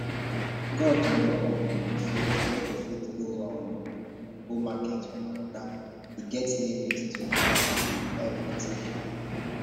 god know um say i no go fit um go market for my oga e get limit to um everything